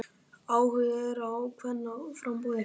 Áhugi er á kvennaframboði